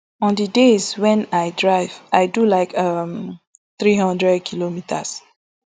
on di days wen i drive i do like um three hundredkm